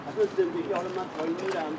Bu əslində alınmır.